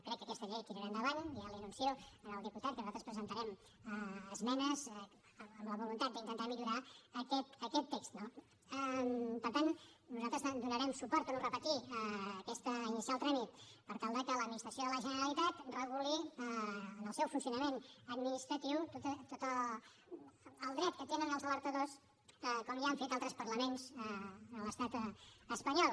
crec que aquesta llei tirarà endavant ja li anuncio al diputat que nosaltres presentarem esmenes amb la voluntat d’intentar millorar aquest text no per tant nosaltres donarem suport ho torno a repetir a iniciar el tràmit per tal de que l’administració de la generalitat reguli en el seu funcionament administratiu tot el dret que tenen els alertadors com ja han fet altres parlaments en l’estat espanyol